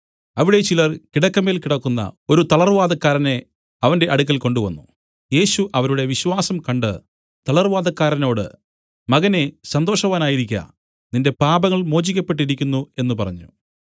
അവിടെ ചിലർ കിടക്കമേൽ കിടക്കുന്ന ഒരു തളർവാതക്കാരനെ അവന്റെ അടുക്കൽ കൊണ്ടുവന്നു യേശു അവരുടെ വിശ്വാസം കണ്ട് തളർവാതക്കാരനോട് മകനേ സന്തോഷവാനായിരിക്ക നിന്റെ പാപങ്ങൾ മോചിക്കപ്പെട്ടിരിക്കുന്നു എന്നു പറഞ്ഞു